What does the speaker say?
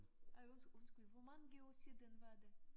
Ej undskyld hvor mange år siden var det?